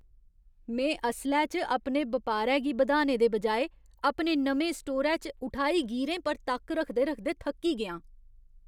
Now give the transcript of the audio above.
में असलै च अपने बपारै गी बधाने दे बजाए अपने नमें स्टोरै च उठाईगीरें पर तक्क रखदे रखदे थक्की गेआं।